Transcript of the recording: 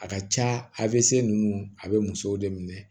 A ka ca a ninnu a bɛ musow de minɛ